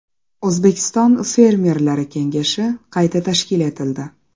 O‘zbekiston Fermerlari kengashi qayta tashkil etildi.